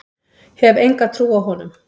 Hef enga trú á honum.